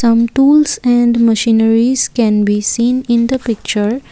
tools and machineries can be seen in the picture.